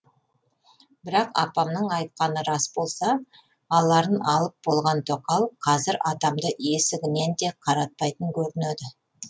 бірақ апамның айтқаны рас болса аларын алып болған тоқал қазір атамды есігінен де қаратпайтын көрінеді